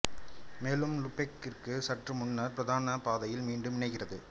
மேலும் லூபெக்கிற்கு சற்று முன்னர் பிரதான பாதையில் மீண்டும் இணைகிறது